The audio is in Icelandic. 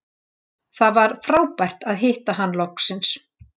Það var frábært að hitta hann loksins